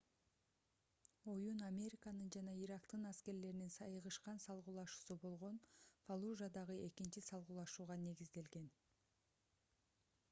оюн американын жана ирактын аскерлеринин айыгышкан салгылашуусу болгон фаллужадагы экинчи салгылашууга негизделген